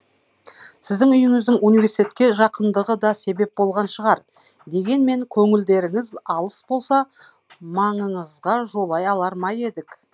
сіздің үйіңіздің университетке жақындығы да себеп болған шығар дегенмен көңілдеріңіз алыс болса маңыңызға жолай алар ме едік